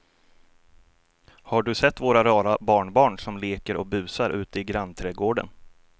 Har du sett våra rara barnbarn som leker och busar ute i grannträdgården!